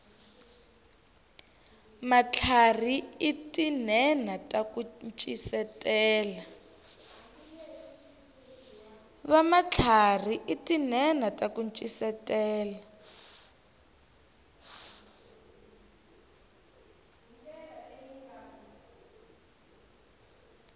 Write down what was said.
vamatlharhi i tinhenha taku ncisetela